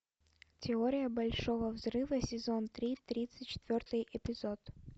теория большого взрыва сезон три тридцать четвертый эпизод